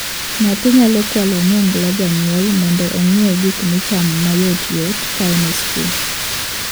Nyathi nyalo kwalo onyongla janyuol mondo ong'iew gik michamo mayotyot ka en skul.